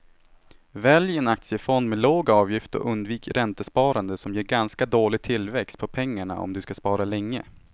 Välj en aktiefond med låg avgift och undvik räntesparande som ger ganska dålig tillväxt på pengarna om du ska spara länge.